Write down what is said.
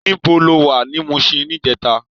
Nibó ló wá ni Mushin nijètá?